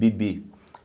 Bibi.